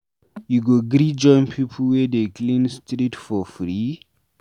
You go gree join pipu wey dey clean street for free?